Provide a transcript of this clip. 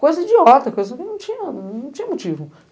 Coisa idiota, coisa que não tinha motivo.